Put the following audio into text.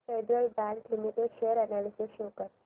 federal bank limited share analysis show कर